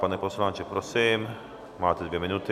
Pane poslanče, prosím, máte dvě minuty.